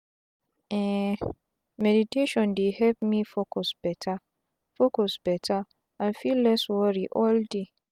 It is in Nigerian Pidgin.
um meditation dey help me focus beta focus beta and feel less wori all day.